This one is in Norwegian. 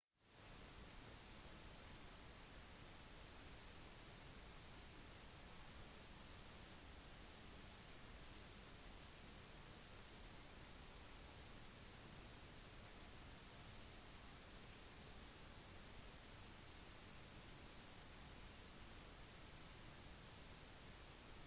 det var likevel svært få skip fra royal navy som ble stasjonert nær de sannsynlige invasjonsrutene siden admiralene var engstelige for at de kom til å bli senket av tyske luftangrep